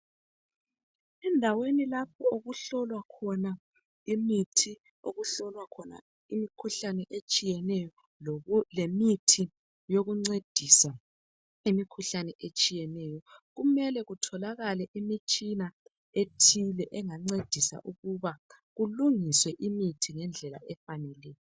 Endaweni lapho okuhlolwa khona imithi okuhlolwa khona imikhuhlane etshiyeneyo lemithi yekuncedisa imikhuhlane etshiyeneyo kumele kutholakale imitshina ethile engancedisa ukuba kulungiswe imithi ngendlela efaneleyo